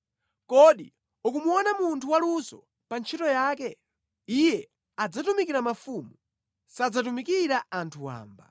Kodi ukumuona munthu waluso pa ntchito yake? Iye adzatumikira mafumu; sadzatumikira anthu wamba.